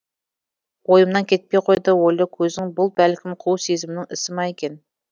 ойымнан кетпей қойды ойлы көзің бұл бәлкім қу сезімнің ісі ма екен